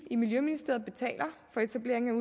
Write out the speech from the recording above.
i miljøministeriet for etableringen